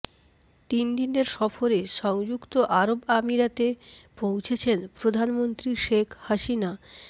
তিন দিনের সফরে সংযুক্ত আরব আমিরাতে পৌঁছেছেন প্রধানমন্ত্রী শেখ হাসিনা